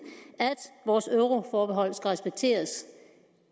og